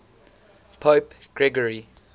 pope gregory